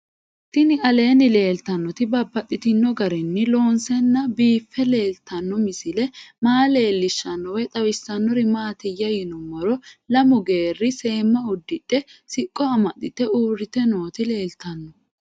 Tinni aleenni leelittannotti babaxxittinno garinni loonseenna biiffe leelittanno misile maa leelishshanno woy xawisannori maattiya yinummoro lamu geeri seemma udidhe siqqo amaxxeitte uuritte nootti leelittanno